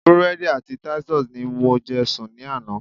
Búrédì àti Titus ni mo je sùn ní àná